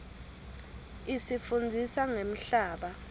isifundzisa ngemhlaba